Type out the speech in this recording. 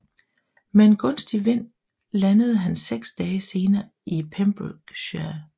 Med en gunstig vind landede han seks dage senere i Pembrokeshire